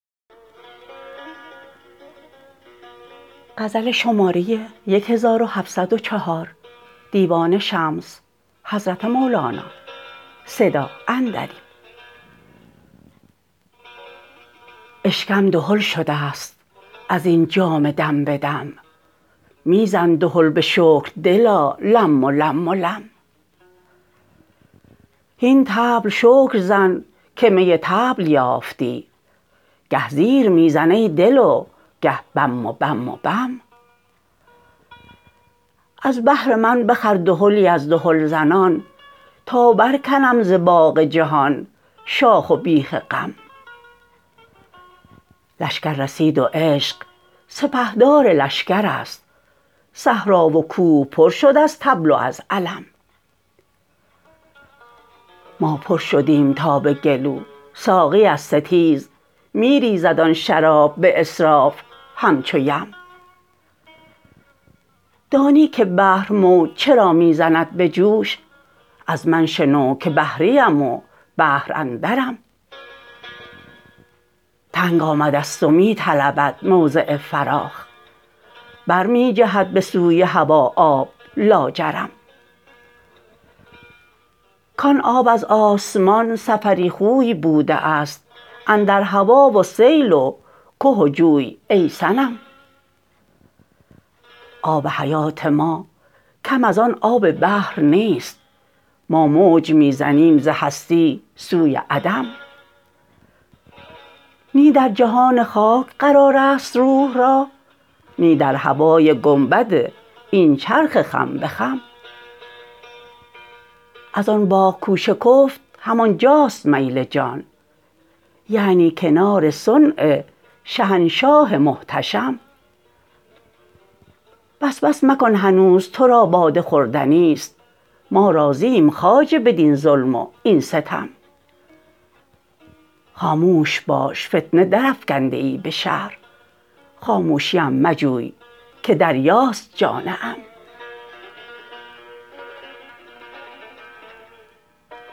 اشکم دهل شده ست از این جام دم به دم می زن دهل به شکر دلا لم و لم و لم هین طبل شکر زن که می طبل یافتی گه زیر می زن ای دل و گه بم و بم و بم از بهر من بخر دهلی از دهلزنان تا برکنم ز باغ جهان شاخ و بیخ غم لشکر رسید و عشق سپهدار لشکرست صحرا و کوه پر شد از طبل و از علم ما پر شدیم تا به گلو ساقی از ستیز می ریزد آن شراب به اسراف همچو یم دانی که بحر موج چرا می زند به جوش از من شنو که بحریم و بحر اندرم تنگ آمده ست و می طلبد موضع فراخ بر می جهد به سوی هوا آب لاجرم کان آب از آسمان سفری خوی بوده ست اندر هوا و سیل و که و جوی ای صنم آب حیات ما کم از آن آب بحر نیست ما موج می زنیم ز هستی سوی عدم نی در جهان خاک قرار است روح را نی در هوای گنبد این چرخ خم به خم زان باغ کو شکفت همان جاست میل جان یعنی کنار صنع شهنشاه محتشم بس بس مکن هنوز تو را باده خوردنی است ما راضییم خواجه بدین ظلم و این ستم خاموش باش فتنه درافکنده ای به شهر خاموشیش مجوی که دریاست جان عم